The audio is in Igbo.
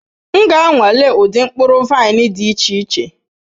M ga-anwale ụdị mkpụrụ vaịn dị iche iche.